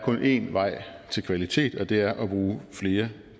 én vej til kvalitet og at det er at bruge flere